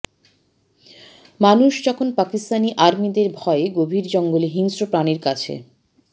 মানুষ যখন পাকিস্তানি আর্মিদের ভয়ে গভীর জঙ্গলে হিংস্র প্রাণীর কাছে